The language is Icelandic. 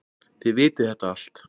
Þið vitið þetta allt.